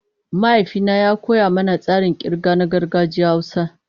Mahaifina ya koya mana tsarin kirga na gargajiyar Hausa.